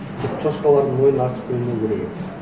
тек шошқалардың мойнына артып қоймау керек еді